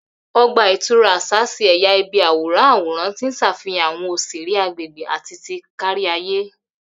Ogba itura aṣa ṣe ẹya ibi aworan aworan ti n ṣafihan awọn oṣere agbegbe ati ti kariaye.